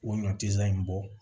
O ɲɔ ti lan in bɔ